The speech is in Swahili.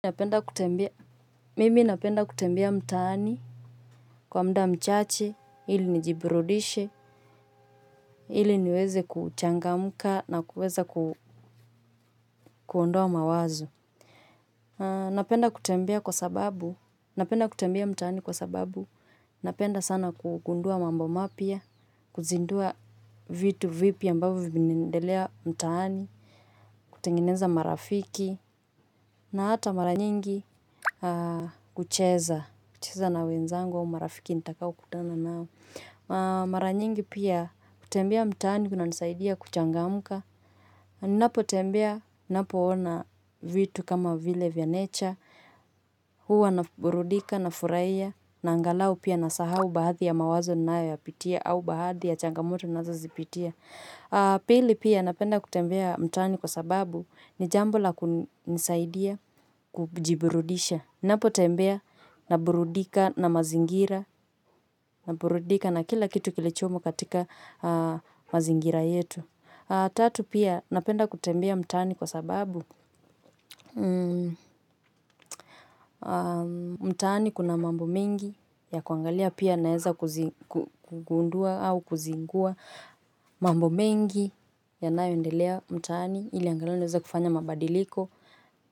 Napenda kutembea, mimi napenda kutembia mtaani kwa muda mchache, ili nijiburudishe, ili niweze kuchangamka na kuweza kuondoa mawazo. Napenda kutembia kwa sababu, napenda kutembea mtaani kwa sababu, napenda sana kugundua mambo mapya, kuzindua vitu vipi ambavyo vinaendelea mtaani, kutengeneza marafiki na hata mara nyingi kucheza, kucheza na wenzangu wa marafiki nitakao kutana nao maranyingi pia kutembea mtaani kunanisaidia kuchangamka. Napo tembea, napo ona vitu kama vile vya nature. Huwa na burudika na furahia na angalau pia nasahau baadhi ya mawazo ninayoyapitia au baadhi ya changamoto nazozipitia. Pili pia napenda kutembea mtaani kwa sababu ni jambo la kunisaidia kujiburudisha. Napo tembea na burudika na mazingira, na burudika na kila kitu kilichomo katika mazingira yetu. Tatu pia napenda kutembea mtaani kwa sababu mtani kuna mambo mengi ya kuangalia pia naeza kugundua au kuzingua. Mambo mengi yanayoendelea mtaani ilinangalau niwezale kufanya mabadiliko.